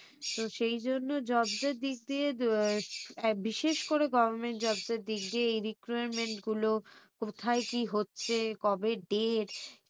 তো সেই জন্য jobs দিক দিয়ে বিশেষ করে government jobs এর দিক দিয়ে এই recruitment গুলো কোথায় কি হচ্ছে কবে date